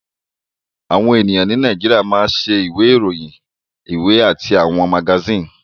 Àwọn ènìyàn ní Nàìjíríà máa ń ṣe àwọn ìwé ìròyìn, ìwé àti àwọn magasíìnì